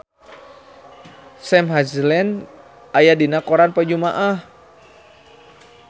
Sam Hazeldine aya dina koran poe Jumaah